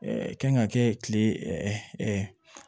kan ka kɛ kile